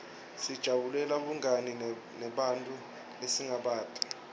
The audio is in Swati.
sijabulela bungani nebantfu lesingabati